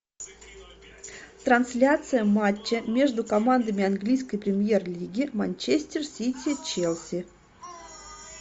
трансляция матча между командами английской премьер лиги манчестер сити челси